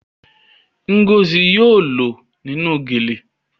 Ngozi yóò lọ nínú gele